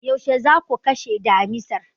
Yaushe za ku kashe damisar?